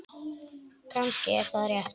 Kannski er það rétt.